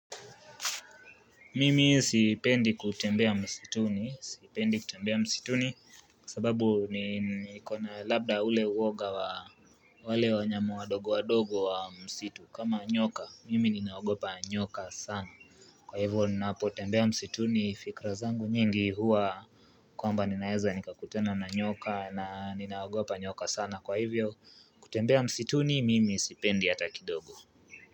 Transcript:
Mimi sipendi kutembea msituni, sipendi kutembea msituni, kwa sababu niko na labda ule uoga wa wale wanyama wadogo wadogo wa msitu kama nyoka, mimi ninaogopa nyoka sana Kwa hivyo, napo tembea msituni fikra zangu nyingi huwa, kwamba ninaeza nikakutana na nyoka na ninaogopa nyoka sana, kwa hivyo, kutembea msituni, mimi sipendi hata kidogo.